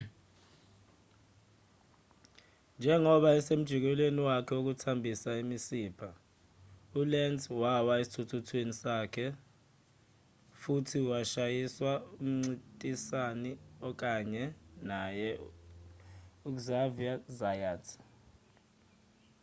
njengoba esemjikelezweni wakhe wokuthambisa imisipha ulenz wawa esithuthuthwini sakhe futhi washayiswa umncintisani okanye naye uxavier zayat